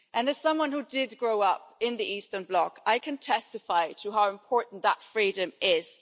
As someone who grew up in the Eastern bloc, I can testify to how important that freedom is.